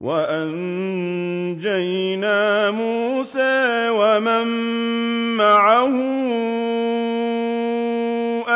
وَأَنجَيْنَا مُوسَىٰ وَمَن مَّعَهُ